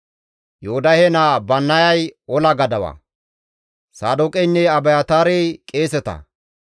Yoodahe naa Bannayay ola gadawa; Saadooqeynne Abiyaataarey qeeseta;